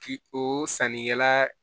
Ki o sannikɛla